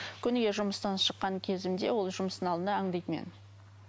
күніге жұмыстан шыққан кезімде ол жұмыстың алдында аңдиды мені